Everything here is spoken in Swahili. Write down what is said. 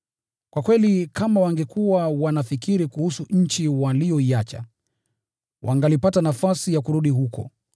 Kwa kweli kama wangekuwa wanafikiri kuhusu nchi waliyoiacha, wangalipata nafasi ya kurudi huko.